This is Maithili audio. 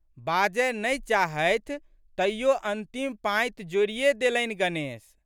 बाजए नहि चाहथि तइयो अन्तिम पाँति जोड़िए देलनि, गणेश!